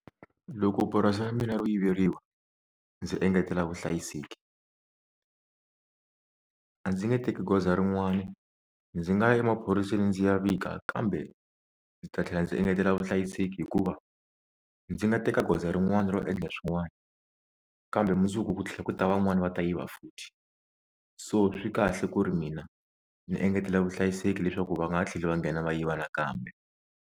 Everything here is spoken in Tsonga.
Loko purasi ra mina ro yiveriwa ndzi engetela vuhlayiseki a ndzi nge teki goza rin'wani, ndzi nga ya emaphoriseni ndzi ya vika kambe ndzi ta tlhela ndzi engetela vuhlayiseki hikuva ndzi nga teka goza rin'wani ro endla swin'wani, kambe mundzuku ku tlhela ku ta van'wani va ta yiva futhi, so swi kahle ku ri mina ni engetela vuhlayiseki leswaku va nga ha tlheli va nghena va yiva nakambe.